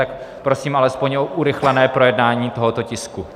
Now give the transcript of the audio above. Tak prosím alespoň o urychlené projednání tohoto tisku.